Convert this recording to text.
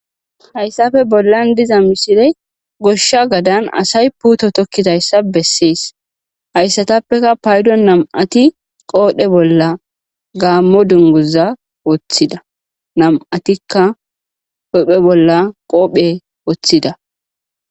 hayssafe bollan diza misiley goshsha gadan asay puuto tokidayssa bessees hayssatappekka payddo nam'ati qoodhdhe bolla gaammo dunguza woththidda nam'atikka huphphe bolla qofe woththidda